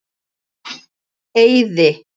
Eiði